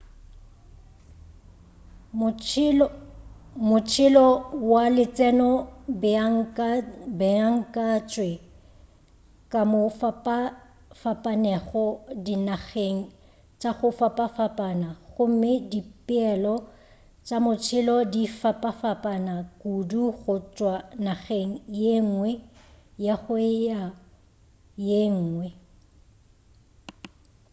motšhelo wa letseno o beakantšwe ka mo go fapafapanego dinageng tša go fapafapana gomme dipeelo tša motšhelo di fapafapana kudu go tšwa nageng ye ngwe go ya go ye nwge